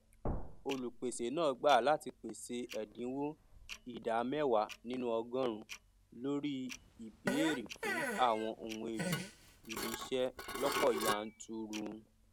olùpèsè náà gbà láti pèsè ẹdínwó ìdá mẹwàá nínú ọgọrùún lórí ìbèèrè fún àwọn ohun èlò ibi iṣẹ lọpọ yanturu